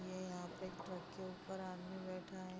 ये यहाँ पे एक ट्रक के ऊपर आदमी बैठा है |